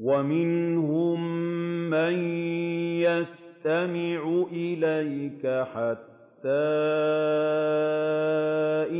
وَمِنْهُم مَّن يَسْتَمِعُ إِلَيْكَ حَتَّىٰ